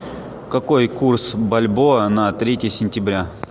какой курс бальбоа на третье сентября